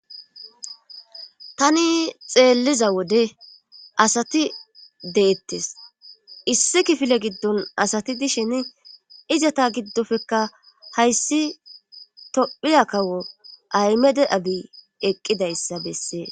tani xeelliza wode asati deettes issi kifile giddon asati dishen izata giddofekka hayssi tophiya kawo aymede abi eqqidayssa bessee